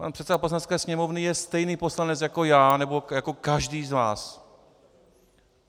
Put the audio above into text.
Pan předseda Poslanecké sněmovny je stejný poslanec jako já nebo jako každý z nás.